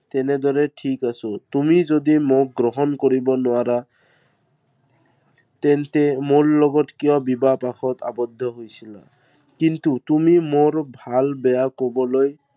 তেনেদৰে ঠিক আছো। তুমি যদি মোক গ্ৰহণ কৰিব নোৱাৰা তেন্তে মোৰ লগত কিয় বিবাহপাশত আৱদ্ধ হৈছিলা? কিন্তু তুমি মোৰ ভাল বেয়া কবলৈ